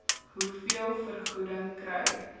hoeveel vergoeding kry